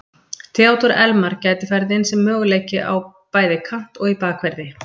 Theodór Elmar gæti farið inn sem möguleiki á bæði kant og í bakverði.